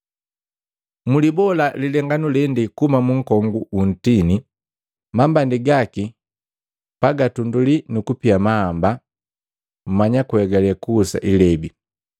“Mulibola lilenganu lende kuhuma mu nkongu wu ntini. Mambandi gaki pagatumbuli kuba gundepwani nukutunduli mahamba, mmanya kuegale kuhusa ilebi.